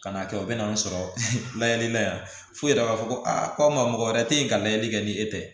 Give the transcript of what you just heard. Ka na kɛ u bɛ n'an sɔrɔ layɛli la yan fo i yɛrɛ b'a fɔ ko aa ko maa mɔgɔ wɛrɛ te yen ka layɛli kɛ ni e tɛ